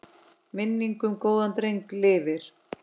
Minning um góðan dreng lifir.